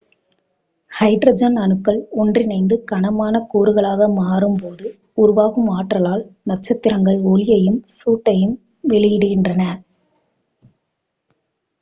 hydrogen அணுக்கள் ஒன்றிணைந்து கனமான கூறுகளாக மாறும் போது உருவாகும் ஆற்றலால் நட்சத்திரங்கள் ஒளியையும் சூட்டையும் வெளியிடுகின்றன